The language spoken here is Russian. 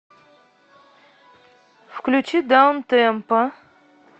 включи даунтемпо